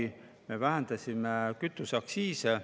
Siis me vähendasime kütuseaktsiise.